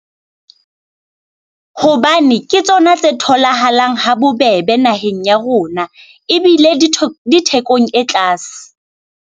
Hobane ke tsona tse tholahalang ha bobebe naheng ya rona ebile di di thekong e tlase.